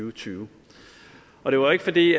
og tyve og det var ikke fordi